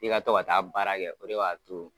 I ka to ka taa baara kɛ o de b'a to